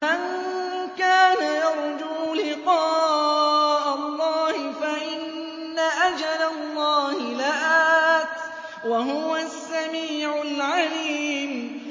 مَن كَانَ يَرْجُو لِقَاءَ اللَّهِ فَإِنَّ أَجَلَ اللَّهِ لَآتٍ ۚ وَهُوَ السَّمِيعُ الْعَلِيمُ